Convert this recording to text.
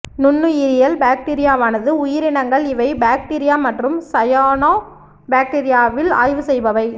நுண்ணுயிரியல் பாக்டீரியாவானது உயிரினங்கள் இவை பாக்டீரியா மற்றும் சயானோபாக்டீரியாவில் ஆய்வு செய்பவை